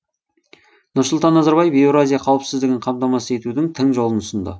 нұрсұлтан назарбаев еуразия қауіпсіздігін қамтамасыз етудің тың жолын ұсынды